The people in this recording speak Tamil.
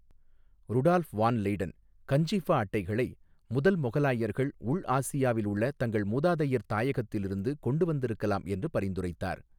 ருடால்ஃப் வான் லெய்டன் கஞ்சிஃபா அட்டைகளை முதல் மொகலாயர்கள் உள் ஆசியாவில் உள்ள தங்கள் மூதாதையர் தாயகத்திலிருந்து கொண்டு வந்திருக்கலாம் என்று பரிந்துரைத்தார்.